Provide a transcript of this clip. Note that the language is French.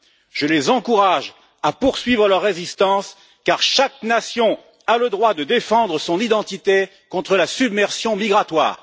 Je les encourage à poursuivre leur résistance, car chaque nation a le droit de défendre son identité contre la submersion migratoire.